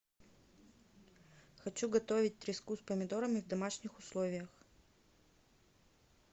хочу готовить треску с помидорами в домашних условиях